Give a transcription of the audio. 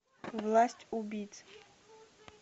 власть убийц